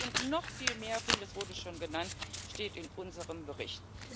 Das alles und noch viel mehr vieles wurde schon genannt steht in unserem Bericht.